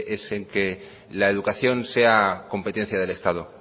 es el que la educación sea competencia del estado